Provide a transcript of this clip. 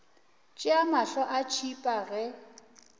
tšea mahlo a tšhipa ge